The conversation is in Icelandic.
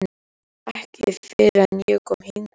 Ekki fyrr en ég kom hingað.